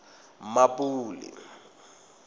mmapule